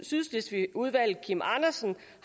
sydslesvigudvalget kim andersen